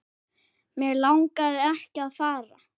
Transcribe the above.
Mig langaði ekki að fara.